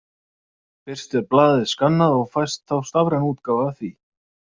Fyrst er blaðið skannað og fæst þá stafræn útgáfa af því.